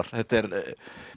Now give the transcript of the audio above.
þetta er